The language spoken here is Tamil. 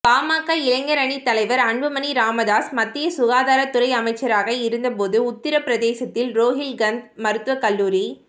பாமக இளைஞர் அணி தலைவர் அன்புமணி ராமதாஸ் மத்திய சுகாதாரத் துறை அமைச்சராக இருந்தபோது உத்தரபிரதேசத்தில் ரோஹில்கந்த் மருத்துவக் கல்லூரி